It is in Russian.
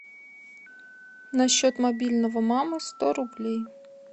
на счет мобильного мамы сто рублей